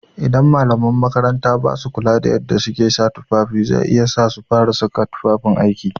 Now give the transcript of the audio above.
Idan malaman makaranta basu kula da yadda suke sa tufafi za iya sa su fara saka tufafin aiki.